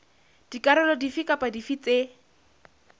dikarolo dife kapa dife tse